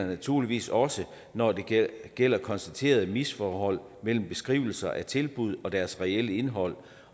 naturligvis også når det gælder konstaterede misforhold mellem beskrivelser af tilbud og deres reelle indhold